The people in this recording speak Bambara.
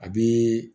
A bɛ